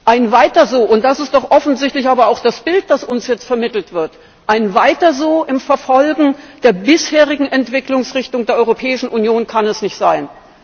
Ein Weiter so das ist doch aber offensichtlich auch das Bild, das uns jetzt vermittelt wird im Verfolgen der bisherigen Entwicklungsrichtung der Europäischen Union kann es nicht sein.